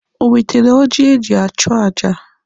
Ọ nwetere oji eji achụ aja?